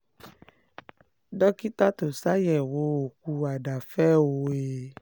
dókítà tó ṣàyẹ̀wò òkú àdàáfẹ́ o e